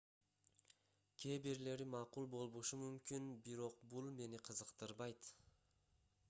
кээ бирлери макул болбошу мүмкүн бирок бул мени кызыктырбайт